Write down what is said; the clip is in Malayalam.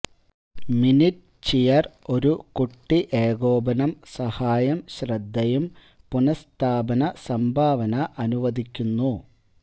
മിനിറ്റ് ചിയർ ഒരു കുട്ടി ഏകോപനം സഹായം ശ്രദ്ധയും പുനഃസ്ഥാപന സംഭാവന അനുവദിക്കുന്നു